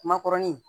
Makɔrɔni